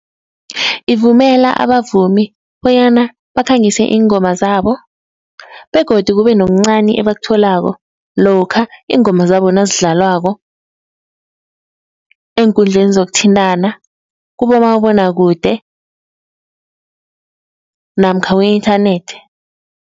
Ivumela abavumi bonyana bakhangise iingoma zabo begodu kube nokuncani ebakutholako lokha iingoma zabo nazidlalwako eenkundleni zokuthintana, kubomabonwakude namkha ku-inthanethi.